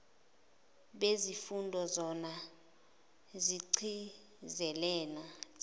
zezifundo zona zigcizelela